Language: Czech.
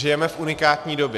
Žijeme v unikátní době.